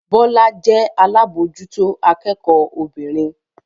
Bọ́lá jẹ́ alábòójútó akẹ́kọ̀ọ́ obìnrin